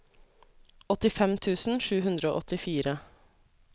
åttifem tusen sju hundre og åttifire